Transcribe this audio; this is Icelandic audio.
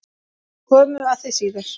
Komum að því síðar.